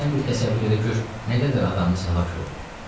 Sən bir təsəvvür elə gör nə qədər adamımız həlak olub.